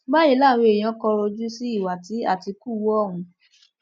báyìí làwọn èèyàn kọrọ ojú sí ìwà tí àtìkù hu ohun